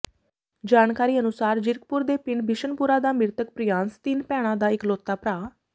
ਜਾਣਕਾਰੀ ਅਨੁਸਾਰ ਜੀਰਕਪੁਰ ਦੇ ਪਿੰਡ ਬਿਸ਼ਨਪੁਰਾ ਦਾ ਮ੍ਰਿਤਕ ਪ੍ਰਿਆਂਸ ਤਿੰਨ ਭੈਣਾਂ ਦਾ ਇਕਲੌਤਾ ਭਰਾ